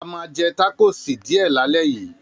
A máa jẹ tákòsí díẹ̀ lálẹ́ yìí.